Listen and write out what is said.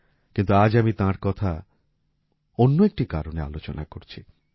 কিন্তু আজ আমি তাঁর কথা অন্য একটি কারণে আলোচনা করছি